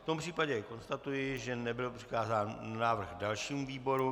V tom případě konstatuji, že nebyl přikázán návrh dalšímu výboru.